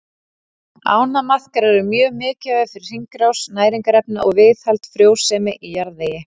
Ánamaðkar eru mjög mikilvægir fyrir hringrás næringarefna og viðhald frjósemi í jarðvegi.